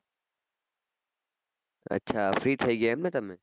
અચ્છા free થઇ ગયા એમ ને તમે